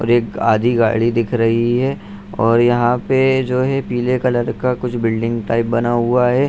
और एक आधी गाड़ी दिख रही है और यहां पे जो है पीले कलर का कुछ बिल्डिंग टाइप बना हुआ है।